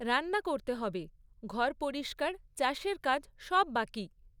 রান্না করতে হবে, ঘর পরিষ্কার, চাষের কাজ সব বাকি।